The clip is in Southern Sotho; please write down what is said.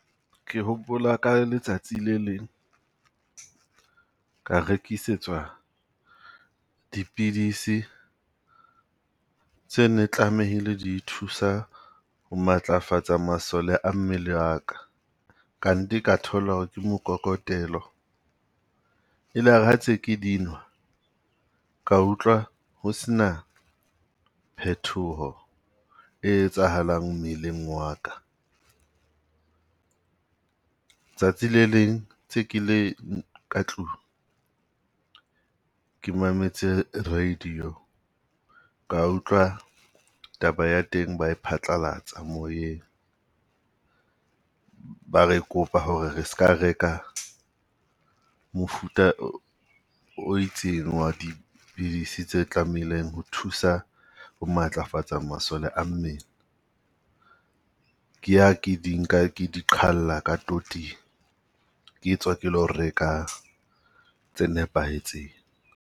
Ke hopola ka letsatsi le leng, ka rekisetswa dipidisi tse ne tlamehile di thusa ho matlafatsa masole a mmele a ka, kante ka thola ho re ke mokokotelo. E lare ha ntse ke di nwa, ka utlwa ho se na phethoho e etsahalang mmeleng wa ka. Tsatsi le leng tse ke le ka tlung ke mametse radio, ka utlwa taba ya teng ba e phatlalatsa moyeng. Ba re kopa ho re re seka reka mofuta o itseng wa dipidisi tse tlamehileng ho thusa bo matlafatsa masole a mmele. Ke ha ke di nka ke di qhalla ka toting. Ke tswa ke lo reka tse nepahetseng.